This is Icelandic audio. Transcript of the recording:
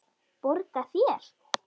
Borga þér?